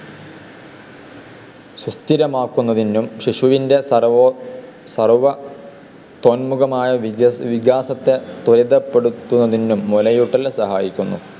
സുസ്ഥിരമാക്കുന്നതിനും ശിശുവിൻ്റെ സർവ്വോ സർവ്വ ത്വന്മുഖമായ വിജസ് വികാസത്തെ ത്വരിതപ്പെടുത്തുന്നതിനും മുലയൂട്ടൽ സഹായിക്കുന്നു.